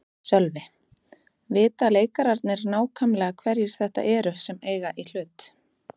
Sölvi: Vita leikararnir nákvæmlega hverjir þetta eru sem eiga í hlut?